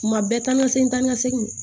Kuma bɛɛ taa ni ka segin taa ni ka segin